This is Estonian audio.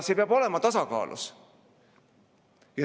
See peab olema tasakaalus.